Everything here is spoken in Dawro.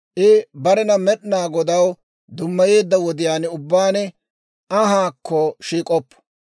« ‹I barena Med'inaa Godaw dummayeedda wodiyaan ubbaan anhaakko shiik'oppo.